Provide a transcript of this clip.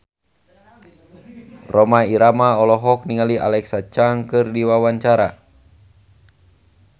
Rhoma Irama olohok ningali Alexa Chung keur diwawancara